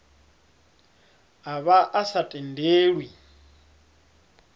a vha a sa tendelwi